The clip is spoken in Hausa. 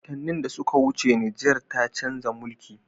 Watanni da suka wuce Niger ta chanza mulki